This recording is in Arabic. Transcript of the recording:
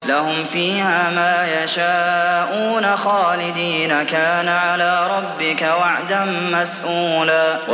لَّهُمْ فِيهَا مَا يَشَاءُونَ خَالِدِينَ ۚ كَانَ عَلَىٰ رَبِّكَ وَعْدًا مَّسْئُولًا